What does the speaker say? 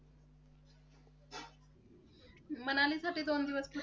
मनाली साठी दोन दिवस पुरेसे आहेत का?